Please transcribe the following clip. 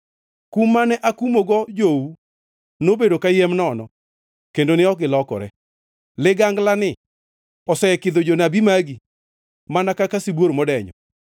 “Kum mane akumogo jou nobedo kayiem nono; kendo ne ok gilokore. Liganglani osekidho jonabi magi mana kaka sibuor modenyo.”